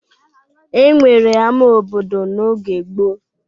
E nwere ama obodo n'oge gboo.